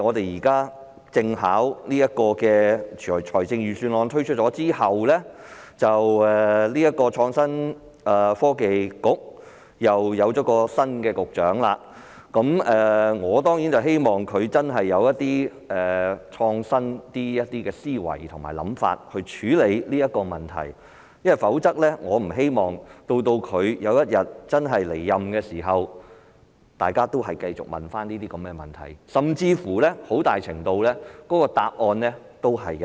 現在碰巧在財政預算案推出後，創新及科技局又換了新局長，我當然希望他有較創新的思維和想法來處理這個問題，因我不希望當他離任時大家仍在提出相關問題，甚至很大程度上連答案也一樣。